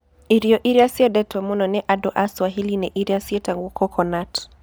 Irio iria ciendetwo mũno nĩ andũ a Swahili nĩ iria cietagwo coconut.